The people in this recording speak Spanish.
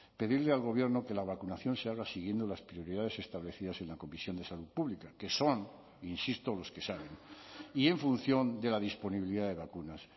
pedirle al gobierno que la vacunación se haga siguiendo las prioridades establecidas en la comisión de salud pública que son insisto los que saben y en función de la disponibilidad de vacunas